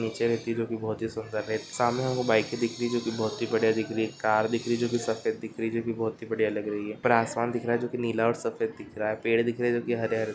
बहुत ही सुंदर है सामने हमको बाइक दिख रही जोकि बहुत ही बड़िया दिख रही है कार दिख रही है जो के सफेद दिख रही है जोकि बहुतही बड़िया लग रही है ऊपर आसमान दिख रहा है जोकि नीला और सफ़ेद दिख रहा है पेड़ दिख रहा है जो के हरे-हरे।